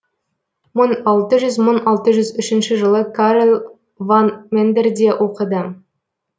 мың алты жүз мың алты жүз үшінші жылы карел ван мендерде оқыды